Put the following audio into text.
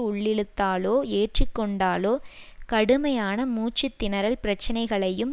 உள்ளிழுத்தாலோ ஏற்று கொண்டாலோ கடுமையான மூச்சு திணறல் பிரச்சனைகளையும்